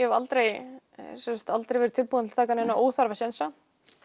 hef aldrei aldrei verið tilbúin til að taka neina óþarfa sénsa